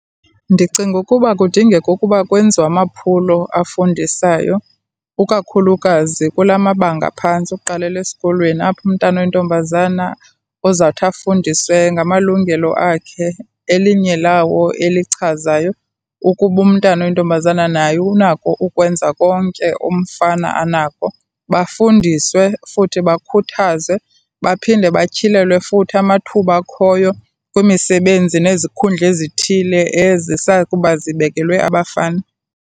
Ndicinga ukuba kudingeka ukuba kwenziwe amaphulo afundisayo, ukakhulukazi kula mabanga phantsi ukuqalela esikolweni apho umntana oyintombazana ozawuthi afundiswe ngamalungelo akhe. Elinye lawo elichazayo ukuba umntana oyintombazana naye unako ukwenza konke umfana anako, bafundiswe futhi bakhuthazwe, baphinde batyhilelwe futhi amathuba akhoyo kwimisebenzi nezikhundla ezithile ezisakuba zibekelwe abafana.